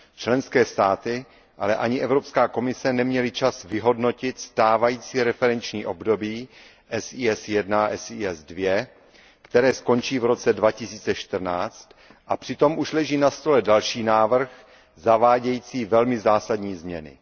Členské státy, ale ani Evropská komise neměly čas vyhodnotit stávající referenční období SES I a SES II, které skončí v roce 2014, a přitom už leží na stole další návrh zavádějící velmi zásadní změny.